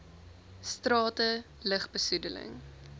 strate lug besoedeling